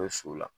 so la